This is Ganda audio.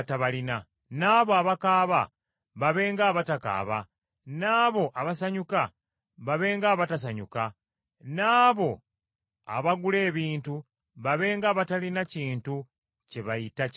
N’abo abakaaba babe ng’abatakaaba, n’abo abasanyuka babe ng’abatasanyuka. N’abo abagula ebintu babe ng’abatalina kintu kye bayita kyabwe.